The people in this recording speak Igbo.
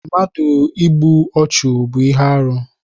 Mmadụ ịgbụ ọchu bú ihe arụ